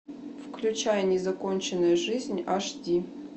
включай незаконченная жизнь аш ди